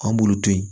An b'olu to yen